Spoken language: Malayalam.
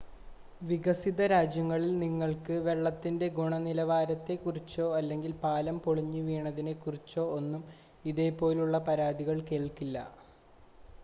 വികസിത രാജ്യങ്ങളിൽ നിങ്ങൾക്ക് വെള്ളത്തിൻ്റെ ഗുണനിലവാരത്തെക്കുറിച്ചോ അല്ലെങ്കിൽ പാലം പൊളിഞ്ഞു വീണതിനേക്കുറിച്ചോ ഒന്നും ഇതേപോലെയുള്ള പരാതികൾ കേൾക്കില്ല